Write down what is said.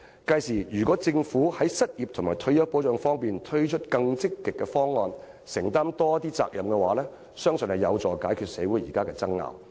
屆時，如果政府在失業和退休保障方面推出更積極的方案，承擔更多責任，相信可有助解決社會現時的爭拗。